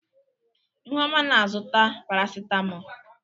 Ihuoma na-azụta Parasitamọl.